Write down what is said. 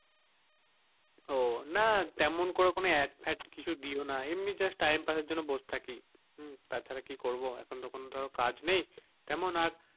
ও তেমন কোনো add fad কিছু দি ও না এমনি just time pass এর জন্য বসে থাকি হুম তাছাড়া কি করবো এখন তো কাজ নেই তেমন আর,